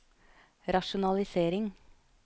rasjonalisering